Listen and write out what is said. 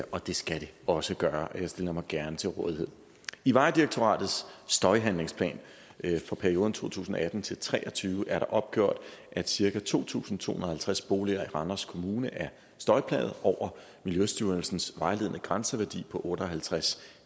og det skal det også gøre og jeg stiller mig gerne til rådighed i vejdirektoratets støjhandlingsplan for perioden to tusind og atten til tre og tyve er der opgjort at cirka to tusind to hundrede og halvtreds boliger i randers kommune er støjplagede over miljøstyrelsens vejledende grænseværdi på otte og halvtreds